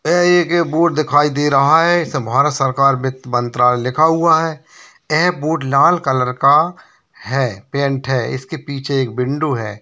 यहाँ एक बोर्ड दिखाई दे रहा है भारत सरकार वित्त मंत्रायले लिखा हुआ है आ है बोर्ड लाल कलर का है पेंट है इसके पीछे एक विंडो है।